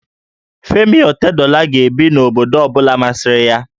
Femi Otedola ga-ebi n'obodo ọ bụla masịrị ya